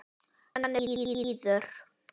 Hann er blíður.